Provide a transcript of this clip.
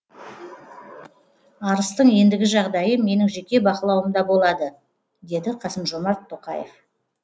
арыстың ендігі жағдайы менің жеке бақылауымда болады деді қасым жомарт тоқаев